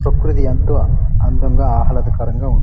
ప్రకృతి ఎంతో అందంగా ఆహ్లాదకరంగా ఉంది.